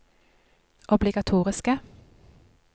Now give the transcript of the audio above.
obligatoriske